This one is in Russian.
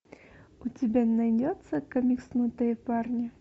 у тебя найдется комикснутые парни